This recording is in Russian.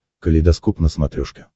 калейдоскоп на смотрешке